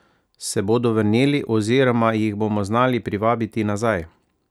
Se bodo vrnili oziroma jih bomo znali privabiti nazaj?